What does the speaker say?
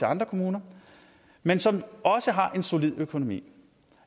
andre kommuner men som også har en solid økonomi